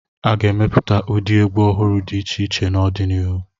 A ga-emepụta ụdị egwu ọhụrụ dị iche iche n'ọdịnihu.